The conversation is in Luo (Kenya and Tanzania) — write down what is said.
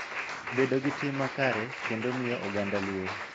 Bedo gi tim makare, kendo miyo oganda luor.